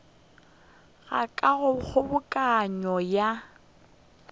ga ka go kgobokano ya